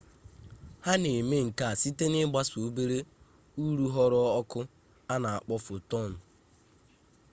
ha na-eme nkea site na-ịgbasa obere urughuru ọkụ a na akpọ fotọn